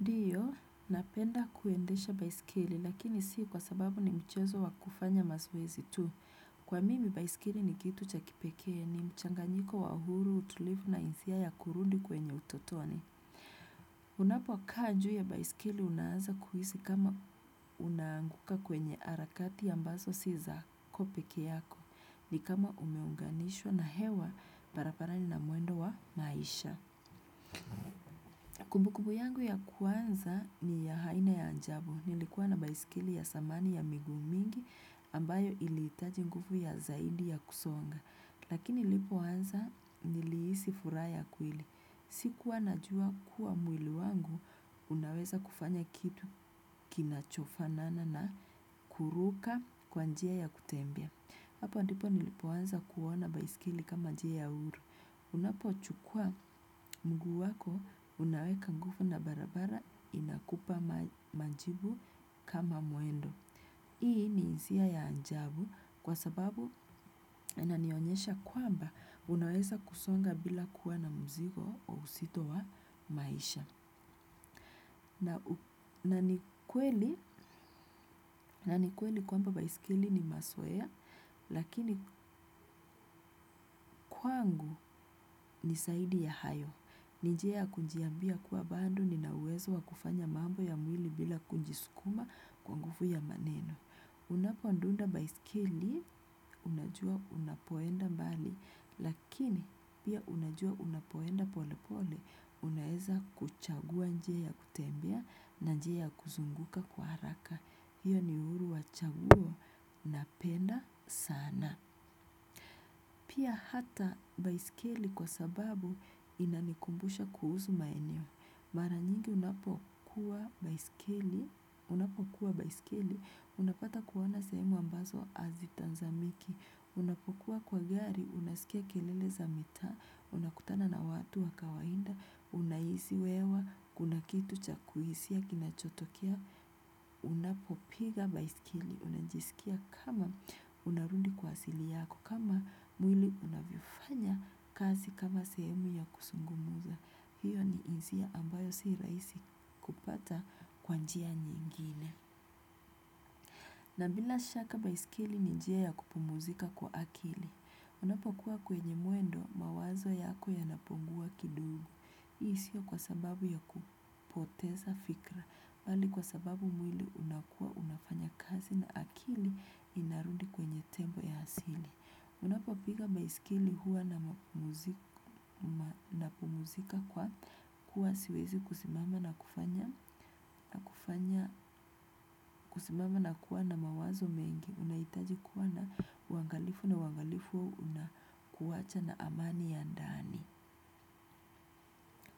Ndiyo, napenda kuendesha baiskeli, lakini si kwa sababu ni mchezo wa kufanya mazoezi tu. Kwa mimi, baiskeli ni kitu cha kipekee, ni mchanganyiko wa huru, utulivu na hisia ya kurudi kwenye utotoni. Unapokaa juu ya baiskeli, unaanza kuhisi kama unaanguka kwenye harakati ambazo si zako peke yako, ni kama umeunganishwa na hewa barabarani na mwendo wa maisha. Kumbukumbu yangu ya kwanza ni ya aina ya ajabu nilikuwa na baiskeli ya zamani ya miguu mingi ambayo ilihitaji nguvu ya zaidi ya kusonga lakini nilipoanza nilihisi furaha ya kweli sikuwa najua kuwa mwili wangu unaweza kufanya kitu kinachofanana na kuruka kwa njia ya kutembea hapo ndipo nilipoanza kuona baiskeli kama njia ya huru. Unapochukua mguu wako, unaweka nguvu na barabara inakupa majibu kama mwendo. Hii ni hisia ya ajabu kwa sababu inanionyesha kwamba unaweza kusonga bila kuwa na mzigo wa uzito wa maisha. Na ni kweli kwamba baiskeli ni mazoea, lakini kwangu ni zaidi ya hayo. Ni njia ya kujiambia kuwa bado nina uwezo wa kufanya mambo ya mwili bila kujisukuma kwa nguvu ya maneno. Unapodunda baiskeli, unajua unapoenda mbali, lakini pia unajua unapoenda pole pole, unaweza kuchagua njia ya kutembea na njia ya kuzunguka kwa haraka. Hiyo ni uhuru wa chaguo napenda sana. Na pia hata baiskeli kwa sababu inanikumbusha kuhusu maeneo. Mara nyingi unapokuwa baiskeli, unapokuwa baiskeli, unapata kuona sehemu ambazo hazitazamiki, unapokuwa kwa gari, unasikia kelele za mitaa, unakutana na watu wa kawaida, unahisi hewa, kuna kitu cha kuhisia kinachotokea, unapopiga baiskeli, unajisikia kama unarudi kwa asili yako, kama mwili unavyofanya kazi kama sehemu ya kuzungumza hiyo ni hisia ambayo si rahisi kupata kwa njia nyingine na bila shaka baiskeli ni njia ya kupumzika kwa akili unapokuwa kwenye mwendo mawazo yako yanapungua kidogo hii sio kwa sababu ya kupoteza fikira bali kwa sababu mwili unakuwa unafanya kazi na akili inarudi kwenye tempo ya asili. Unapopiga baiskeli huwa napumzika kwa kuwa siwezi kusimama na kufanya kusimama na kuwa na mawazo mengi unahitaji kuwa na uangalifu na uangalifu unakuacha na amani ya ndani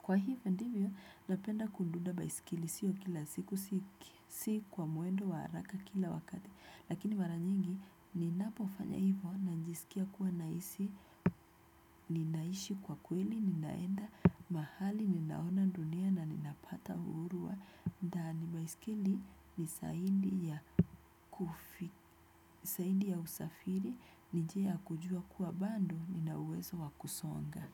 kwa hivyo ndivyo napenda kudunda baiskeli sio kila siku si kwa mwendo wa haraka kila wakati lakini mara nyingi ninapofanya hivyo najisikia kuwa nahisi, ninaishi kwa kweli, ninaenda, mahali, ninaona dunia na ninapata uhuru wa ndani baiskeli ni zaidi ya usafiri, ni njia ya kujua kuwa bado, nina uwezo wa kusonga.